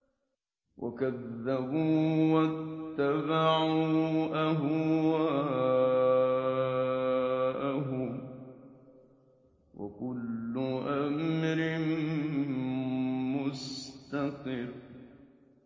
وَكَذَّبُوا وَاتَّبَعُوا أَهْوَاءَهُمْ ۚ وَكُلُّ أَمْرٍ مُّسْتَقِرٌّ